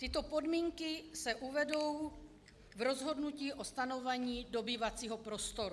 Tyto podmínky se uvedou v rozhodnutí o stanovení dobývacího prostoru.